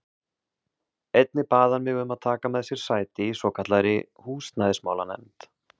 Einnig bað hann mig um að taka með sér sæti í svokallaðri húsnæðismála- nefnd.